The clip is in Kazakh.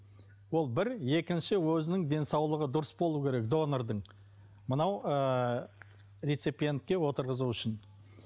ол бір екінші өзінің денсаулығы дұрыс болуы керек донордың мынау ы реципиентке отырғызу үшін